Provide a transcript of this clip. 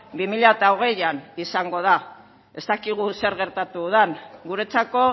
bi mila hogeian izango da ez dakigu zer gertatu den guretzako